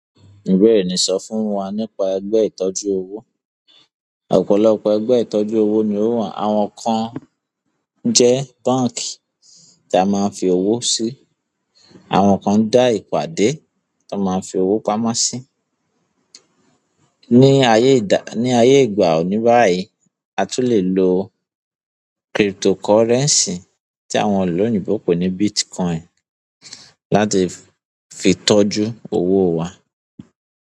Bẹ́ẹ̀ni, sọ fún wa nípa ẹgbẹ́ ìtọ́jú owó. Ọ̀pọ̀lọpọ̀ egbe ìtọ́jú owo ni o wa. Àwọn kan jẹ́ báǹkì ti a máa ń fi owó sí, àwọn kan dá ìpàdé ton máa ń fi owó pamọ́ sí. Ní ayé ìdá-- ní ayé ìgbà òní báyìí, a tún lè lo cryptocurrency tí àwọn ìlú oyinbo pè ní Bitcoin láti fi tọ́jú owó wa.